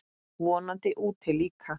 Vonandi úti líka.